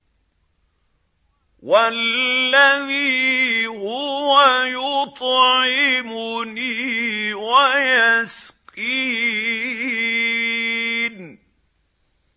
وَالَّذِي هُوَ يُطْعِمُنِي وَيَسْقِينِ